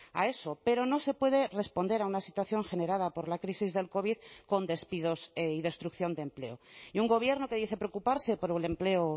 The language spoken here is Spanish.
a eso pero no se puede responder a una situación generada por la crisis del covid con despidos y destrucción de empleo y un gobierno que dice preocuparse por un empleo